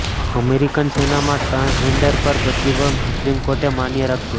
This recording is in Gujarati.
અમેરિકન સેનામાં ટ્રાન્સજેન્ડર પર પ્રતિબંધ સુપ્રીમે કોર્ટે માન્ય રાખ્યો